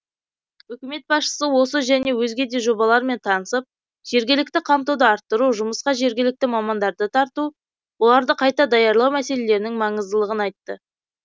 үкімет басшысы осы және өзге де жобалармен танысып жергілікті қамтуды арттыру жұмысқа жергілікті мамандарды тарту оларды қайта даярлау мәселелерінің маңыздылығын айтты